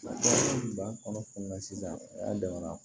Ba kɔnɔ kunna sisan a damana